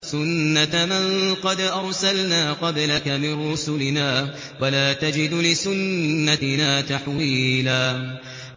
سُنَّةَ مَن قَدْ أَرْسَلْنَا قَبْلَكَ مِن رُّسُلِنَا ۖ وَلَا تَجِدُ لِسُنَّتِنَا تَحْوِيلًا